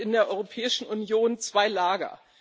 Es gibt in der Europäischen Union zwei Lager.